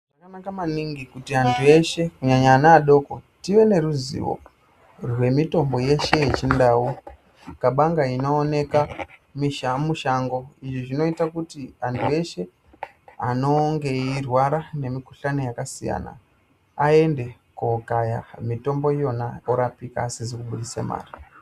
Zvakanaka maningi kuti andu eshe kunyanya vana vadoko tive neruzivo rwemutombo yeshe yechindau kabanga inooneka mushango izvi zvnoita kuti vandu veshe vanenge veirwara ngemukuhlani yakasiyana vaende kundokaya mutombo yona vasizi kubudisa mare.